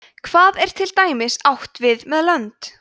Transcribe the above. hvað er til dæmis átt við með lönd